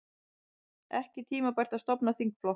Ekki tímabært að stofna þingflokk